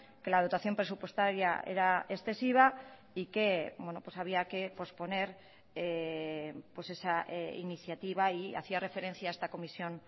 que la dotación presupuestaria era excesiva y que había que posponer esa iniciativa y hacía referencia a esta comisión